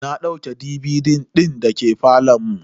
Na dauke DVD din da ke falon mu.